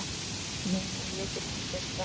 Nei, nei, ég get ekki gert það.